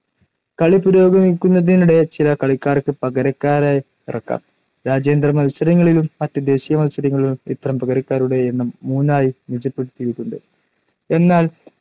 കളി പുരോഗമിക്കുന്നതിനിടെ ചില കളിക്കാർക്ക്‌ പകരക്കാരെ ഇറക്കാം. രാജ്യാന്തര മത്സരങ്ങളിലും മറ്റ്‌ ദേശീയ മത്സരങ്ങളിലും ഇത്തരം പകരക്കാരുടെ എണ്ണം മൂന്നായി നിജപ്പെടുത്തിയിട്ടുണ്ട്‌. എന്നാൽ